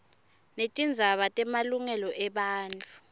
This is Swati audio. netindzaba temalungelo ebantfu